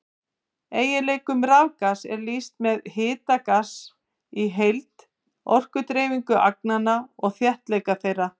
Eiginleikum rafgass er lýst með hita gassins í heild, orkudreifingu agnanna og þéttleika þeirra.